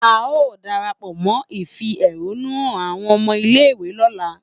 A o darapọ mọ ifi ehonu hàn awọn ọmọ ile-iwe lola